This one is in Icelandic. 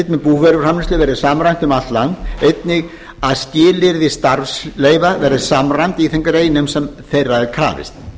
með búvöruframleiðslu verði samræmt um land allt einnig að skilyrði starfsleyfa verði samræmd í þeim greinum þar sem þeirra er krafist